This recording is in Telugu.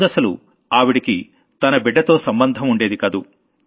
ముందసలు ఆవిడకి తన బిడ్డతో సంబంధం ఉండేది కాదు